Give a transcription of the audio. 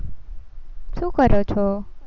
શું કરો છો?